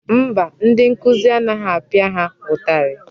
Mba, ndị nkụzi anaghị apịa ha ụtarị.